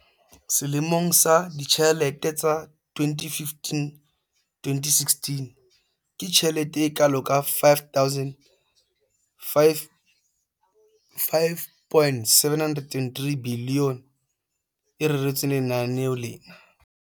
Selemong sa ditjhelete sa 2015-16, ke tjhelete e kalo ka R5 703 bilione e reretsweng lenaneo lena.